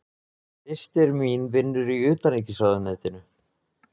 Systir mín vinnur í Utanríkisráðuneytinu.